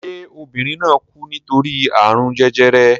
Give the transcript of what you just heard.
Ṣé obìnrin náà kú nítorí àrùn jẹjẹrẹ?